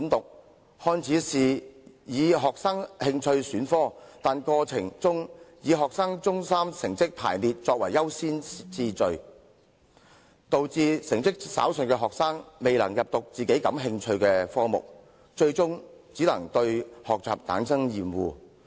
這個改革看似容許學生根據興趣選科，卻以學生中三成績排名訂優先次序，以致成績稍遜的學生未能修讀感興趣的科目，最終只會對學習生厭。